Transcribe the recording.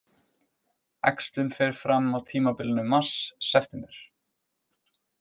Æxlun fer fram á tímabilinu mars-september.